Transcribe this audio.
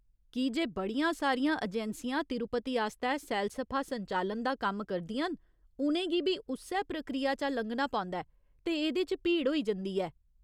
की जे बड़ियां सारियां अजैंसियां तिरुपति आस्तै सैलसफा संचालन दा कम्म करदियां न, उ'नें गी बी उस्सै प्रक्रिया चा लंघना पौंदा ऐ, ते एह्दे च भीड़ होई जंदी ऐ।